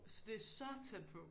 Altså det så tæt på